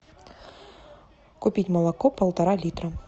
купить молоко полтора литра